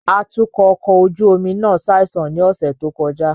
Atukọ ọkọ ojú omi náà ṣaisan ni ọsẹ to kọja